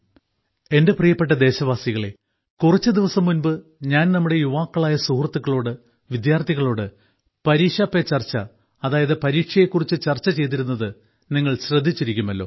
എന്റെ പ്രിയപ്പെട്ട ദേശവാസികളേ കുറച്ചു ദിവസം മുൻപ് ഞാൻ നമ്മുടെ യാവാക്കളായ സുഹൃത്തുക്കളോട് വിദ്യാർത്ഥികളോട് പരീക്ഷാ പേ ചർച്ച അതായത് പരീക്ഷയെ കുറിച്ച് ചർച്ച ചെയ്തിരുന്നത് നിങ്ങൾ ശ്രദ്ധിച്ചിരിക്കുമല്ലോ